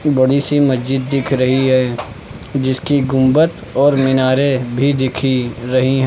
बड़ी सी मस्जिद दिख रही है जिसकी गुंबद और मीनारे भी दिखी रही है।